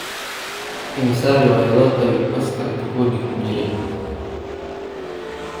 Immisa riwaayadood ayuu Pascal tokodi ku jiray?